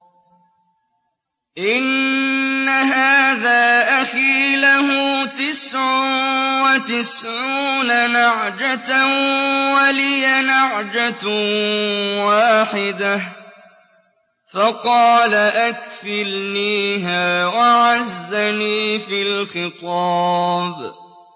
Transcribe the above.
إِنَّ هَٰذَا أَخِي لَهُ تِسْعٌ وَتِسْعُونَ نَعْجَةً وَلِيَ نَعْجَةٌ وَاحِدَةٌ فَقَالَ أَكْفِلْنِيهَا وَعَزَّنِي فِي الْخِطَابِ